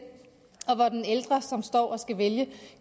ældre som står og skal vælge